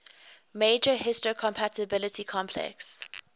major histocompatibility complex